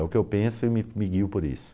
É o que eu penso e me me guio por isso.